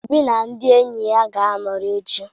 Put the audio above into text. Obi na ndị enyi ga-anọrị echi.